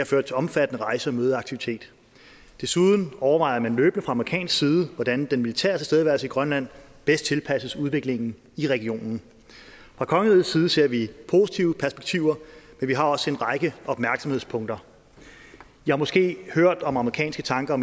ført til omfattende rejse og mødeaktivitet desuden overvejer man løbende fra amerikansk side hvordan den militære tilstedeværelse i grønland bedst tilpasses udviklingen i regionen fra kongerigets side ser vi positive perspektiver men vi har også en række opmærksomhedspunkter i har måske hørt om amerikanske tanker